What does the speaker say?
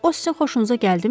O sizin xoşunuza gəldimi?